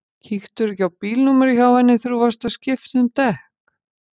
Kíktirðu ekki á bílnúmerið hjá henni þegar þú varst að skipta um dekk?